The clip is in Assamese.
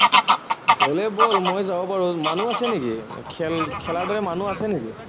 গলে বল, মই যাব পাৰো, মানুহ আছে নেকি, খেল খেলাবলে মানুহ আছে নেকি?